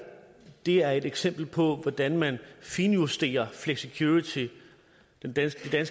er et eksempel på hvordan man finjusterer flexicurity den danske